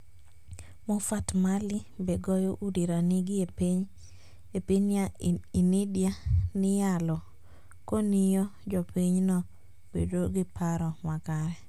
Mofart Mali: Be goyo udi ranigi e piniy Inidia niyalo koniyo jopiny no bedo gi paro makare?